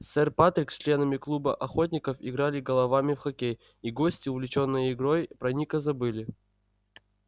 сэр патрик с членами клуба охотников играли головами в хоккей и гости увлечённые игрой про ника забыли